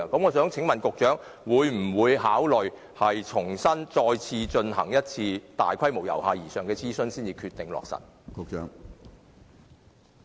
我想請問局長，他會否考慮重新再進行大規模、由下而上的諮詢，然後才落實最終決定？